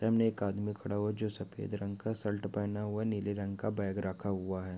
सामने एक आदमी खड़ा हुआ है जो सफ़ेद रंग का शल्ट पहना हुआ है नीले रंग का बैग रखा हुआ है।